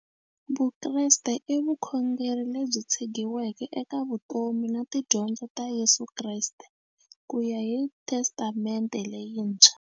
Vukreste i vukhongeri lebyi tshegiweke eka vutomi na tidyondzo ta Yesu Kreste kuya hi Testamente leyintshwa.